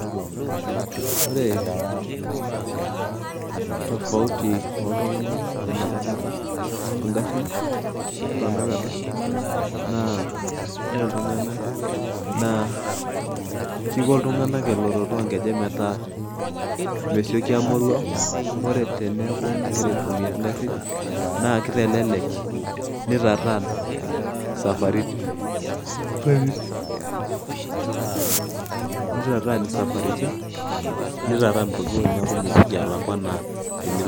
Ore tofauti oo tunganak enapakata oo ngarin otanakata, naa kiko iltunganak eloloto oo nkejek metaa mesioki aa moruau. Ore teneeku inkira aitumiya ingarin naa kitelelek nitataan isaparitin pooki ojitin neeku melakua enaa enilo too nkejek.